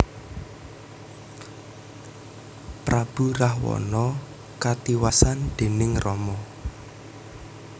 Prabu Rahwana katiwasan déning Rama